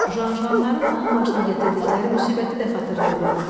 Janjanların onun başına gətirdikləri müsibəti də xatırlaya bilmir.